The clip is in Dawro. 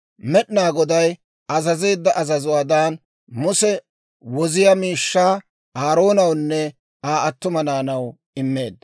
Med'inaa Goday azazeedda azazuwaadan, Muse woziyaa miishshaa Aaroonawunne Aa attuma naanaw immeedda.